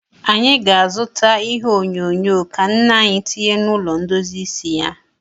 Anyị ga-azụta ihe onyonyo ka nne anyị tinye n'ụlọ ndozi isi ya.